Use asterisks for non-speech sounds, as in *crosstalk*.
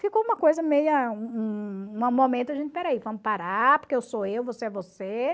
Ficou uma coisa meia... *unintelligible* momento a gente, espera aí, vamos parar, porque eu sou eu, você é você.